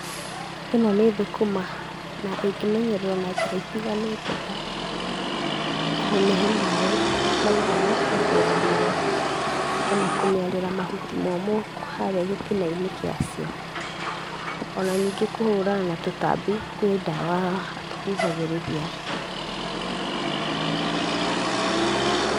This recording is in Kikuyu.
Ĩno nĩ thũkũma, na ĩngĩmenyererwo na njĩra itiganĩte ta, kũmĩhe maĩ, maiganu hĩndĩ ya riũa, ona kumĩarĩra mahuti momũ harĩa gĩtinainĩ gĩacio, ona ningĩ kũhũrana na tũtabi kwĩ dawaa, tũhuhagĩria.